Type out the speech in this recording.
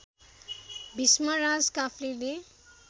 Bhishmaraj काफ्लेले